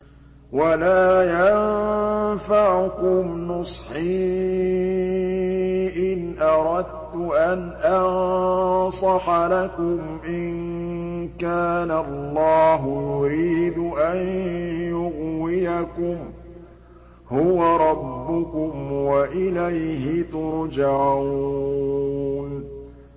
وَلَا يَنفَعُكُمْ نُصْحِي إِنْ أَرَدتُّ أَنْ أَنصَحَ لَكُمْ إِن كَانَ اللَّهُ يُرِيدُ أَن يُغْوِيَكُمْ ۚ هُوَ رَبُّكُمْ وَإِلَيْهِ تُرْجَعُونَ